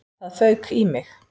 Það fauk í mig.